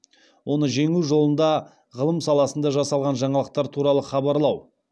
оны жеңу жолында ғылым саласында жасалған жаңалықтар туралы хабарлау